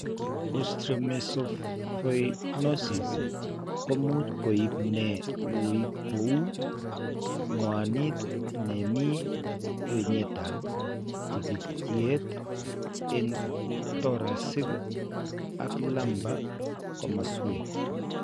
Osteomesopyknosis ko much koib ne uui ko woo, ng'wanit ne mi ng'wenyap tikikyet eng' thoracic ak lumbar komoswek.